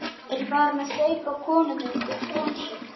Er farin að steypa konumynd úr bronsi.